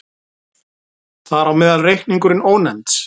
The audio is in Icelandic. Þar á meðal reikningurinn Ónefnds.